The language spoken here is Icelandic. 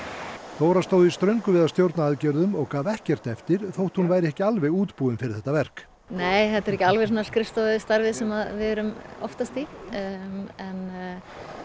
Þóra stóð í ströngu við að stjórna aðgerðum og gaf ekkert eftir þótt hún væri ekki alveg útbúin fyrir þetta verk nei þetta er ekki alveg skrifstofustarfið sem við erum oftast í en